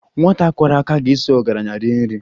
Nwata kwọrọ aka ga-esoro ọgaranya rie nri